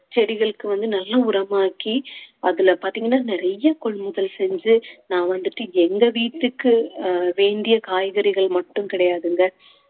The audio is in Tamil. செடிகளுக்கு வந்து நல்ல உரமாக்கி அதுல பார்த்தீங்கன்னா நிறைய கொள்முதல் செஞ்சு நான் வந்துட்டு எங்க வீட்டுக்கு அஹ் வேண்டிய காய்கறிகள் மட்டும் கிடையாதுங்க